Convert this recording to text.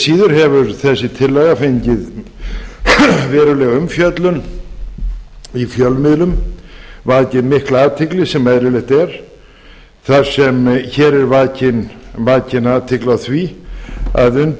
síður hefur þessi tillaga fengið verulega umfjöllun í fjölmiðlum vakið mikla athygli sem eðlilegt er þar sem er vakin athygli á því að unnt er